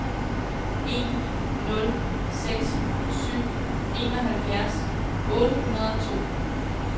en nul seks syv enoghalvfjerds otte hundrede og to